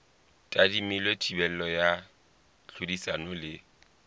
tadimilwe thibelo ya tlhodisano le